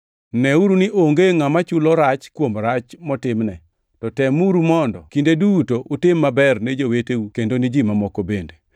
Neuru ni onge ngʼama chulo rach kuom rach motimne, to temuru mondo kinde duto utim maber ne joweteu kendo ne ji mamoko bende.